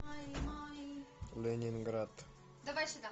ленинград